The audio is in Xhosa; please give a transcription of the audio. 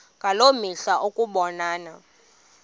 ngaloo mihla ukubonana